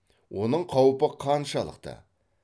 оның қаупі қаншалықты